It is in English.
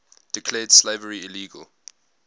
declared slavery illegal